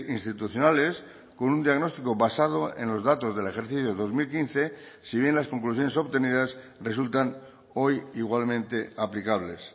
institucionales con un diagnóstico basado en los datos del ejercicio dos mil quince si bien las conclusiones obtenidas resultan hoy igualmente aplicables